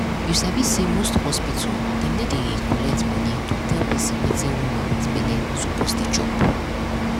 u sabi say most hospital dem no dey collect money to tell person wetin woman wit belle suppose dey chop.